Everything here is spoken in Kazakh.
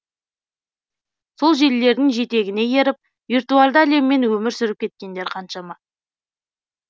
сол желілердің жетегіне еріп виртуальды әлеммен өмір сүріп кеткендер қаншама